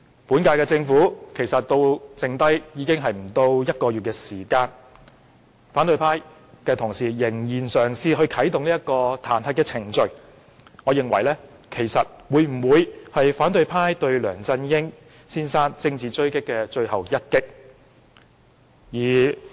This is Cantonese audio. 本屆政府任期只剩下不到1個月，反對派同事仍嘗試啟動彈劾程序，我認為這是反對派對梁振英政治狙擊的最後一擊。